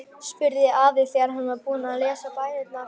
spurði afi þegar hann var búinn að lesa bænirnar.